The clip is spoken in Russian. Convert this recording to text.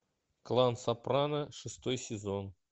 клан сопрано шестой сезон